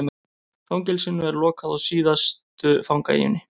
Fangelsinu lokað á síðustu fangaeyjunni